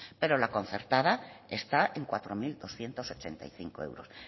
pero la concertada está en cuatro mil doscientos ochenta y cinco euros